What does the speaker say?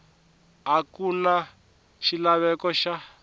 a ku na xilaveko xa